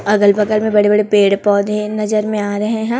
अगल बगल में बड़े बड़े पेड़ पौधे नजर में आ रहे हैं।